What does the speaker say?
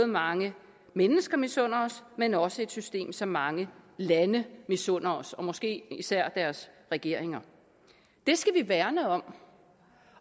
mange mennesker misunder os men også et system som mange lande misunder os og måske især deres regeringer det skal vi værne om